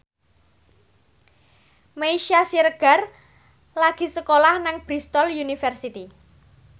Meisya Siregar lagi sekolah nang Bristol university